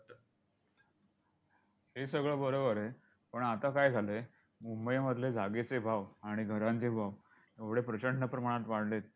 हे सगळं बरोबर आहे. पण आता काय झालंय, मुंबईमधले जागेचे भाव आणि घरांचे भाव एवढे प्रचंड प्रमाणात वाढलेत,